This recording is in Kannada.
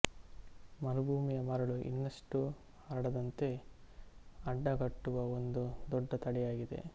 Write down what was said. ಮರುಭೂಮಿಯ ಮರಳು ಇನ್ನಷ್ಟು ಹರಡದಂತೆ ಅಡ್ಡಗಟ್ಟುವ ಒಂದು ದೊಡ್ಡ ತಡೆಯಾಗಿದೆ